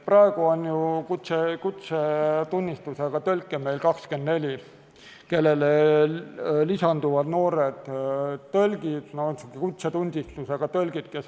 Praegu on ju kutsetunnistusega tõlke 24, kellele lisanduvad noored tõlgid, kes on ka võrdsustatud tunnistusega tõlkidega.